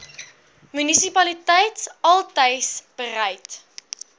munisipaliteit altys bereid